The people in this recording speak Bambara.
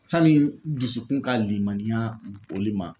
Sani dusukun ka limaniya olu ma